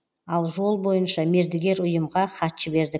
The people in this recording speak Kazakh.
ал жол бойынша мердігер ұйымға хат жібердік